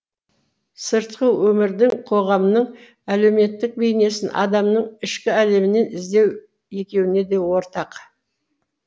сыртқы өмірдің қоғамның әлеуметтік бейнесін адамның ішкі әлемінен іздеу екеуіне де ортақ